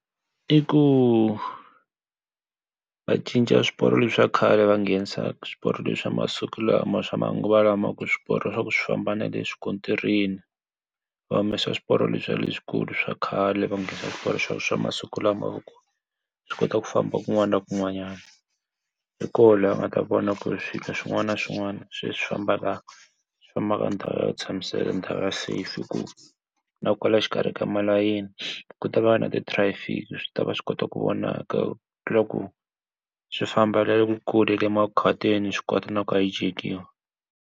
I ku va cinca swiporo leswiya swa khale va ngenisa swiporo leswi swa masiku lama swa manguva lawa swa ku famba na le swikontirini va humesa swiporo leswiya le swi kulu swa khale va ngenisa swiporo leswi swa masiku lama hi ku swi kota ku famba ku n'wana ni ku n'wanyana hi koho la va ta vonaka ku swilo swin'wana na swin'wana se swi famba kahle hi ndhawu ya ku tshamiseka ndhawu ya safe hi ku na kwala xikari ka malayini ku ta va na traffic swi tava swi kota ku vonaka loku swi famba na le kule emakhwatini xi kota na ku hijack-kiwa